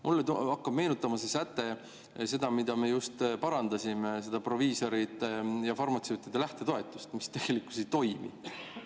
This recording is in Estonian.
Mulle hakkab see säte meenutama seda, mida me just parandasime, seda proviisorite ja farmatseutide lähtetoetust, mis tegelikkuses ei toimi.